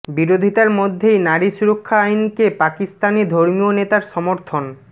বিরোধিতার মধ্যেই নারী সুরক্ষা আইনকে পাকিস্তানি ধর্মীয় নেতার সমর্থন